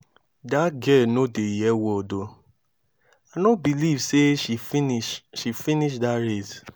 dat girl no dey hear word oo i no believe say she finish finish dat race